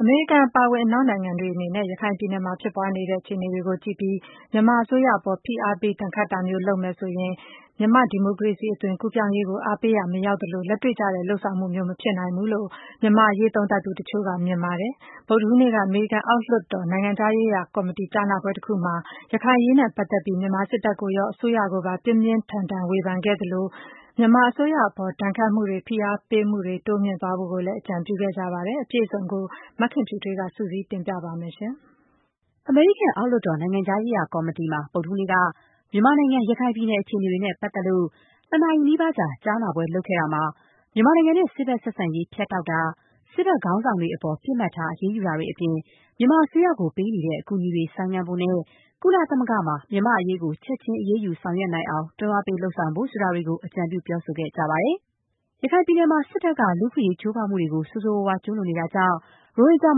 အမေရိကန်အပါအဝင် အနောက်နိုင်ငံတွေအနေနဲ့ ရခိုင်ပြည်နယ်မှာ ဖြစ်ပွားနေတဲ့ အခြေအနေတွေကိုကြည့်ပြီး မြန်မာအစိုးရအပေါ် ဖိအားပေး ဒဏ်ခတ်တာမျိုး လုပ်မယ်ဆိုရင် မြန်မာနိုင်ငံ ဒီမိုကရေစီ အသွင်ကူးပြောင်းရေးကို အားပေးရာမရောက်သလို၊ လက်တွေ့ကျတဲ့ လုပ်ဆောင်မှုမျိုး မဖြစ်နိုင်ဘူးလို့ မြန်မာ့အရေး သုံးသပ်သူတချို့က မြင်ပါတယ်။ ဗုဒ္ဓဟူးနေ့က အမေရိကန်အောက်လွှတ်တော် နိုင်ငံခြားရေးရာ ကော်မတီ ကြားနာပွဲတခုမှာတော့ ရခိုင်အရေးနဲ့ပတ်သက်ပြီး မြန်မာစစ်တပ်ကိုရော အစိုးရကိုပါ ပြင်းပြင်းထန်ထန် ဝေဖန်ခဲ့သလို၊ မြန်မာအစိုးရ အပေါ် ဒဏ်ခတ်မှုတွေ၊ ဖိအားတွေ တိုးမြှင့်ပေးသွားဖို့ အကြံပြုခဲ့ကြပါတယ်။ အပြည့်စုံကို မခင်ဖြူထွေးက စုစည်းတင်ပြပေးပါမယ်။ အမေရိကန်အောက်လွှတ်တော်၊ နိုင်ငံခြားရေးရာကော်မတီမှာ ဗုဒ္ဓဟူးနေ့က မြန်မာနိုင်ငံ ရခိုင်ပြည်နယ် အခြေအနေတွေနဲ့ပတ်သက်လို့ ၂ နာရီနီးပါးကြာ ကြားနာပွဲလုပ်ခဲ့တာမှာ မြန်မာနိုင်ငံနဲ့ စစ်ဖက်ဆက်ဆံရေး ဖြတ်တောက်တာ၊ စစ်ဘက်ခေါင်းဆောင်တွေအပေါ် ပစ်မှတ်ထား အရေးယူတာတွေ အပြင် မြန်မာအစိုးရကို ပေးနေတဲ့ အကူအညီတွေ ဆိုင်းငံ့ဖို့နဲ့ ကုလသမဂ္ဂမှာ မြန်မာ့အရေးကို ချက်ချင်း အရေးယူ ဆောင်ရွက်နိုင်အောင် တွန်းအားပေး ဆောင်ရွက်ဖို့ ဆိုတာတွေကို ပြောဆို အကြံပြုခဲ့ကြပါတယ်။ ရခိုင်ပြည်နယ်မှာ စစ်တပ်က လူ့အခွင့်အရေး ချိုးဖောက်မှုတွေကို ဆိုးဆိုးရွားရွား ကျူးလွန်နေတာကြောင့် ရိုဟင်ဂျာ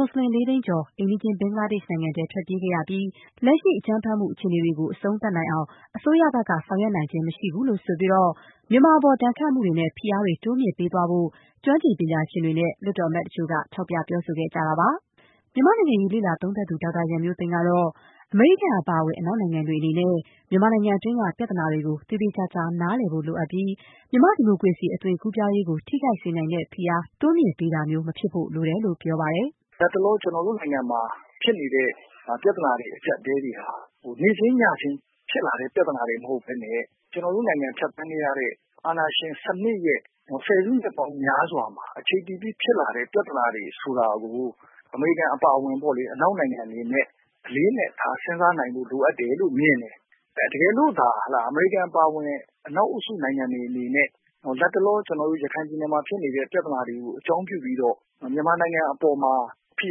မူစလင် လေးသိန်းကျော် အိမ်နီးချင်း ဘင်္ဂလားဒေ့ရှ် နိုင်ငံကို ထွက်ပြေးခဲ့ရပြီး လက်ရှိ အကြမ်းဖက်မှု အခြေအနေတွေကို အဆုံးသတ်အောင် အစိုးရဘက်က ဆောင်ရွက်နိုင်ခြင်း မရှိဘူးလို့ ဆိုပြီး မြန်မာအပေါ် ဒဏ်ခတ်မှုတွေနဲ့ ဖိအားတွေ တိုးမြှင့်ပေးသွားဖို့ ကျွမ်းကျင်ပညာရှင်တွေနဲ့ လွှတ်တော်အမတ်တချို့က ထောက်ပြ ပြောဆိုခဲ့ကြ တာပါ။ နိုင်ငံရေးလေ့လာသုံးသပ်သူ ဒေါက်တာ ရန်မျိုးသိမ်းကတော့ - အမေရိကန်အပါအဝင် အနောက်နိုင်ငံတွေ အနေနဲ့ မြန်မာနိုင်ငံတွင်းက ပြဿနာတွေကို သေသေချာချာ နားလည်ဖို့လိုပြီး မြန်မာဒီမိုကရစီ အသွင်ကူးပြောင်းရေးကို ထိခိုက်စေနိုင်တဲ့ ဖိအား တိုးမြှင့်ပေးတာမျိုး မဖြစ်ဖို့ လိုတယ်လို့ ပြောပါတယ်။ “လက်တလော ကျနော်တို့နိုင်ငံမှာဖြစ်နေတဲ့ ပြဿနာတွေ အကျပ်အတည်းတွေဟာ နေ့ချင်းညချင်းဖြစ်လာတဲ့ ပြဿနာတွေမဟုတ်ပဲနဲ့ ကျနော်တို့နိုင်ငံဖြတ်သန်းခဲ့ရတဲ့ အာဏာရှင်စနစ်ရဲ့ ၁၀ စုနှစ်ပေါင်းများစွာမှာ အခြေတည်ပြီးဖြစ်လာတဲ့ ပြဿနာတွေဆိုတာကို အမေရိကန်အပါအဝင်ပေါ့လေ၊ အနောက်နိုင်ငံတွေအနေနဲ့ အလေးအနက်ထား စဉ်းစားနိုင်ဖို့လိုအပ်တယ်လို့ မြင်တယ်။ တကယ်လို့ အမေရိကန်အပါအဝင်အနောက်အုပ်စုနိုင်ငံတွေအနေနဲ့လက်တလော ကျနော်တို့ ရခိုင်ပြည်နယ်မှာ ဖြစ်နေတဲ့ ပြဿနာတွေကို အကြောင်းပြုပြီးတော့ မြန်မာနိုင်ငံအပေါ်မှာ ဖိ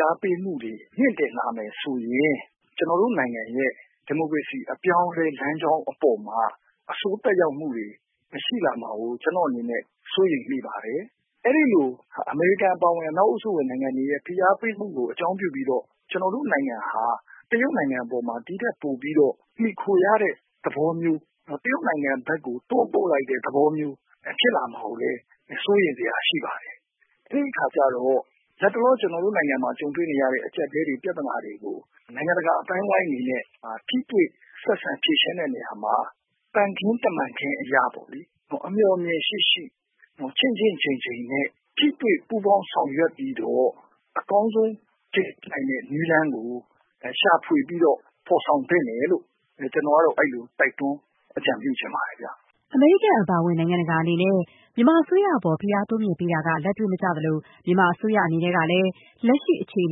အားပေးမှုတွေ မြင့်တင်လာမယ်ဆိုရင် ကျနော်တို့နိုင်ငံရဲ့ ဒီမိုကရေစီအပြောင်းအလဲလမ်းကြောင်းအပေါ်မှာ အဆိုးသက်ရောက်မှုတွေ ရှိလာမှာကို ကျနော့်အနေနဲ့ စိုးရိမ်မိပါတယ်။ အမေရိကန်အပါအဝင် အနောက်အုပ်စုနိုင်ငံတွေရဲ့ ဖိအားပေးမူကို အကြောင်းပြုပြီးတော့ ကျနော်တို့နိုင်ငံဟာ တရုတ်နိုင်ငံအပေါ် ဒီထက်ပိုပြီးတော့ မှီခိုရတဲ့သဘောမျိုး တရုတ်နိုင်ငံ ဘက်ကို တွန်းပို့လိုက်တဲ့ သဘောမျိုး ဖြစ်လာမှာကိုလည်း စိုးရိမ်စရာရှိပါတယ်။ အဲဒီအခါကျတော့ လက်တလောကျနော်တို့နိုင်ငံမှာ ကြုံတွေ့နေရတဲ့ အကျပ်အတည်းတွေ ပြဿနာတွေကို နိုင်ငံတကာအသိုင်းအဝိုင်းအနေနဲ့ ထိတွေ့ဆက်ဆံဖြေရှင်းတဲ့နေရာမှာ သံခင်းတမန်ခင်းအရပေါ့လေ အမျှော်အမြင်ရှိရှိ ချင့်ချင့်ချိန်ချိန်နဲ့ ထိတွေ့ပူးပေါင်းဆောင်ရွက်ပြီးတော့ အကောင်းဆုံးဖြစ်နိုင်တဲ့နည်းလမ်းကို ရှာဖွေပြီးတော့ ဖော်ဆောင်သင့်တယ်လို့ ကျနော်ကတော့ အဲဒီလိုတိုက်တွန်းအကြံပြုချင်ပါတယ်။” အမေရိကန် အပါအဝင် နိုင်ငံတကာအနေနဲ့ မြန်မာအစိုးရအပေါ် ဖိအားတိုးမြှင့်ပေးတာက လက်တွေ့မကျသလို၊ မြန်မာအစိုးရ အနေနဲ့လည်း လက်ရှိ အခြေအ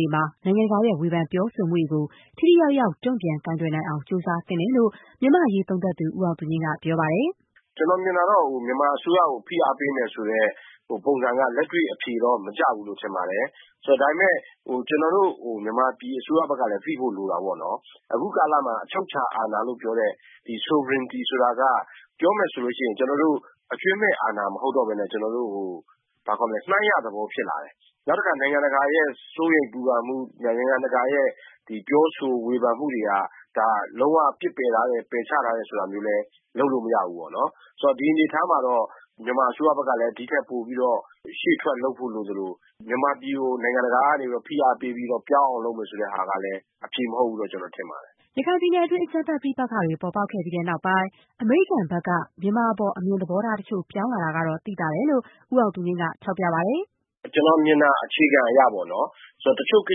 နေမှာ နိုင်ငံတကာရဲ့ ဝေဖန်ပြောဆိုမှုတွေကို ထိထိရောက်ရောက် တုံ့ပြန် ကိုင်တွယ်နိုင်အောင် ကြိုးစားသင့်တယ်လို့ မြန်မာ့အရေး သုံးသပ်သူ ဦးအောင်သူငြိမ်းက ပြောပါတယ်။ “ကျနော်မြင်တာကတော့ မြန်မာအစိုးရကို ဖိအားပေးမယ်ဆိုတဲ့ ပုံစံကတော့ လက်တွေ့မကျဘူးလို့ထင်တယ်။ ဒါပေမယ့် ကျနော်တို့ မြန်မာပြည်အစိုးရဘက်ကလည်း သိဖို့လိုတာပေါ့နော်၊ အခုကာလမှာ အချုပ်အခြာအာဏာလို့ပြောတဲ့ sovereignty ဆိုတာက ပြောမယ်ဆိုရင် ကျနော်တို့ အကျွင်းမဲ့အာဏာမဟုတ်တော့ပဲနဲ့ မှန်းရသဘောမျိုးဖြစ်လာတယ်။ နောက်တခါ နိုင်ငံတကာရဲ့ စိုးရိမ်ပူပန်မှု နိုင်ငံတကာရဲ့ပြောဆို ဝေဖန်မှုတွေက ဒါလုံး၀ ပယ်ချထားတယ်ဆိုတာမျိုးလည်း လုပ်လို့မရဘူးပေါ့နော်။ ဆိုတော့ ဒီအနေအထားမှာတော့ မြန်မာအစိုးရဘက်ကလည်း ဒီထက်ပိုပြီးတော့ ရှေ့ထွက်လုပ်ဖို့လိုသလို မြန်မာပြည်ကို နိုင်ငံတကာကနေပြီးတော့ ဖိအားပေးပြီးတော့ ပြောင်းအောင်လုပ်မယ်ဆိုတာကလည်း အဖြေမဟုတ်ဘူးလို့ ကျနော်ထင်ပါတယ်။” ရခိုင်ပြည်နယ်တွင်း အကြမ်းဖက် ပဋိပက္ခတွေ ပေါ်ပေါက်ခဲ့ပြီးနောက်ပိုင်း အမေရိကန်ဘက်က မြန်မာအပေါ် အမြင်သဘောထားတချို့ ပြောင်းလာတာတော့ သိသာတယ်လို့ ဦးအောင်သူငြိမ်းက ထောက်ပြပါတယ်။ “ကျနော်မြင်တာ အခြေခံအရပေါ့နော် ဆိုတော့ တချို့ကိ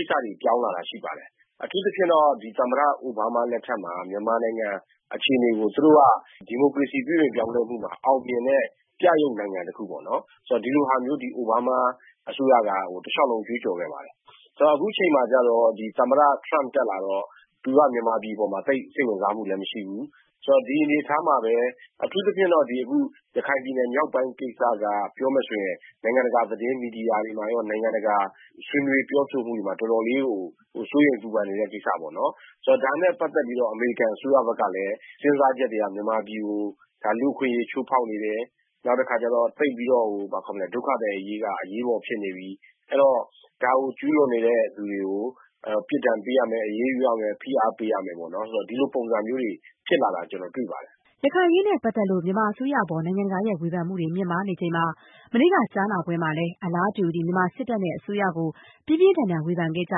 စ္စတွေပြောင်းလာတာရှိပါတယ်။ အထူးသဖြင့်တော့ သမ္မတ အိုဘားမားလက်ထက်မှာ မြန်မာနိုင်ငံအခြေအနေကို သူတို့က ဒီမိုကရေစီပြုပြင်ပြောင်းလဲမှုမှာ အောင်မြင်တဲ့ ပြယုဂ်နိုင်ငံတခုပေါ့နော် ဒီလိုဟာမျိုးသည် အိုဘားမားအစိုးရက တလျှောက်လုံးကြွေးကြော်ခဲ့ပါတယ်။ ဆိုတော့ အခုအချိန်မှာကျတော့ သမ္မတ Trump တက်လာတော့ သူကမြန်မာပြည်အပေါ်မှာ သိပ်စိတ်ဝင်စားမှုလည်းမရှိဘူး။ ဆိုတော့ ဒီအနေအထားမှာပဲ အထူးသဖြင့်တော့ ရခိုင်ပြည်နယ်မြောက်ပိုင်း ကိစ္စက ပြောမယ်ဆိုရင် နိုင်ငံတကာသတင်းမီဒီယာတွေမှာရော ၊ နိုင်ငံတကာဆွေးနွေးပြောဆိုမှုတွေမှာ တော်တော်လေးကို စိုးရိမ်ပူပန်နေတဲ့ ကိစ္စပေ့ါနော် ဆိုတော့ ဒါနဲ့ ပတ်သက်ပြီးတော့ အမေရိကန်အစိုးရဘက်ကလည်း စဉ်းစားချက်တွေက မြန်မာပြည်ကို လူ့အခွင့်အရေးချိုးဖောက်နေတယ် နောက်တခါကျတော့ ဒုက္ခသည်အရေးက အရေးပေါ်ဖြစ်နေပြီ။ အဲဒီတော့ ဒါကို ကျူးလွန်နေတဲ့လူတွေကို ပြစ်ဒဏ်ပေးရမယ်၊ အရေးယူရမယ် ဖိအားပေးရမယ်။ ဒီလိုပုံစံမျိုးတွေ ဖြစ်လာတာ ကျနော်တွေ့ပါတယ်။” ရခိုင်အရေးနဲ့ပတ်သက်လို့ မြန်မာအစိုးရအပေါ် နိုင်ငံတကာရဲ့ ဝေဖန်မှုတွေ မြင့်မားနေချိန်မှာပဲ မနေ့က ကြားနာပွဲမှာလည်း အလားတူ မြန်မာစစ်တပ်နဲ့ အစိုးရကို ပြင်းပြင်းထန်ထန် ဝေဖန်ခဲ့ကြ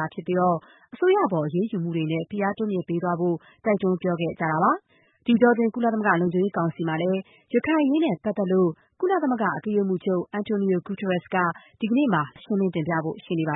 တာဖြစ်ပြီး၊ အစိုးရအပေါ် အရေးယူမှုတွေနဲ့ ဖိအား တိုးမြှင့်ပေးသွားဖို့ တိုက်တွန်း ပြောခဲ့ကြတာပါ။ ဒီအတောအတွင်း ကုလသမဂ္ဂ လုံခြုံရေးကောင်စီမှာလည်း ရခိုင်အရေးနဲ့ပတ်သက်လို့ ကုလသမဂ္ဂ အတွင်းရေးမှူးချုပ် António Guterres က ဒီကနေ့ လူသိရှင်ကြား ရှင်းလင်း တင်ပြဖို့ ရှိနေပါ